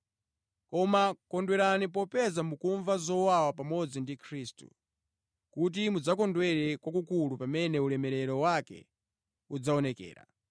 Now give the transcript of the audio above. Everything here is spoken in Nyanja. Koma kondwerani popeza mukumva zowawa pamodzi ndi Khristu, kuti mudzakondwere kwakukulu pamene ulemerero wake udzaonekera.